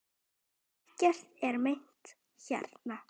Ekkert er meint hérna.